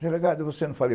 Delegado, você não falou?